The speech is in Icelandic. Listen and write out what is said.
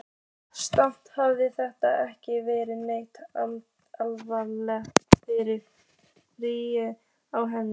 Samt hafði þetta ekki verið neitt almennilegt fyllirí á henni.